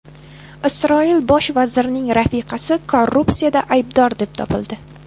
Isroil bosh vazirining rafiqasi korrupsiyada aybdor deb topildi.